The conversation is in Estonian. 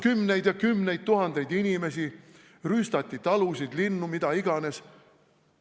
... kümneid ja kümneid tuhandeid inimesi, rüüstati talusid, linnu, mida iganes.